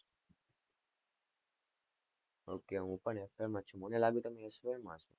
okay હું પણ FY માં જ છુ. મને લાગ્યું તમે SY હસો